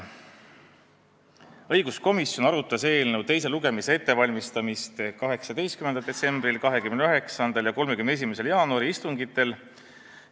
Õiguskomisjon arutas eelnõu teise lugemise ettevalmistamist 18. detsembri, 29. ja 31. jaanuari istungil.